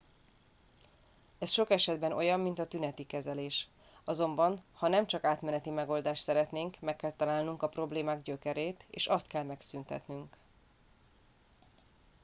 ez sok esetben olyan mint a tüneti kezelés azonban ha nem csak átmeneti megoldást szeretnénk meg kell találnunk a problémák gyökerét és azt kell megszüntetnünk